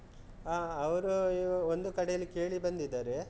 ಆ, ಅವರು ಒಂದು ಕಡೆಯಲ್ಲಿ ಕೇಳಿ ಬಂದಿದ್ದಾರೆ.